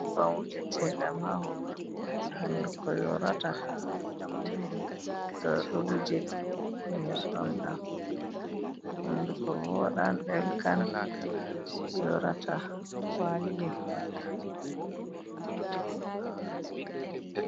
Nyebbam wujete ɗam ha honduko, hunduko yorata to ɗo wuje be nyebbam ɗam, honduko vooɗan, ɗelkan yorata.